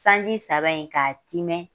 Sanji saba in ka timɛn